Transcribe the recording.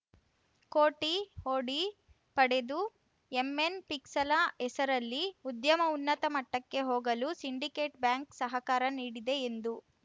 ಕೋಟಿ ಒಡಿ ಪಡೆದು ಎಂಎನ್‌ ಪಿಕಲ್ಸ ಹೆಸರಲ್ಲಿ ಉದ್ಯಮ ಉನ್ನತ ಮಟ್ಟಕ್ಕೆ ಹೋಗಲು ಸಿಂಡಿಕೇಟ್‌ ಬ್ಯಾಂಕ್‌ ಸಹಕಾರ ನೀಡಿದೆ ಎಂದು